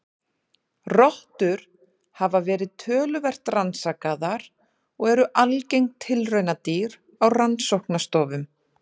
Rottur hafa verið töluvert rannsakaðar og eru algeng tilraunadýr á rannsóknastofum.